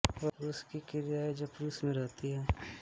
वह पुरुष की क्रिया है जो पुरुष में रहती है